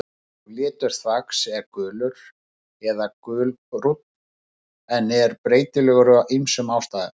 Eðlilegur litur þvags er gulur eða gulbrúnn en er breytilegur af ýmsum ástæðum.